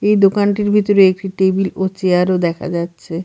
এই দোকানটির ভিতরে একটি টেবিল ও চেয়ার -ও দেখা যাচ্ছে।